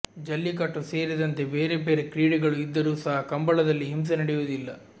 ಜಲ್ಲಿಕಟ್ಟು ಸೇರಿದಂತೆ ಬೇರೆ ಬೇರೆ ಕ್ರೀಡೆಗಳು ಇದ್ದರೂ ಸಹ ಕಂಬಳದಲ್ಲಿ ಹಿಂಸೆ ನಡೆಯುವುದಿಲ್ಲ